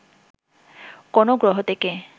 কোন গ্রহ থেকে